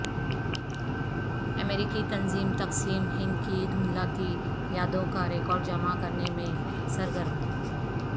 امریکی تنظیم تقسیم ہند کی دھندلاتی یادوں کا ریکارڈ جمع کرنے میں سرگرم